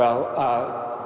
á